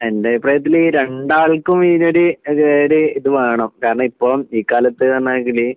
എന്റഭിപ്രായത്തില് ഈ രണ്ടാൾക്കും ഈയൊരു ഈയൊരു ഇത് വേണം കാരണം ഇപ്പോ ഈ കാലത്ത് ആണെങ്കില്